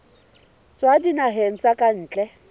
tswa dinaheng tsa ka ntle